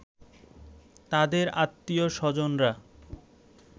তাদের আত্নীয়-স্বজনরা